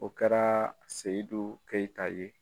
O kɛra seyidu keyita ye.